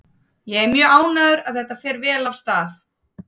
Ég er mjög ánægður og þetta fer vel af stað.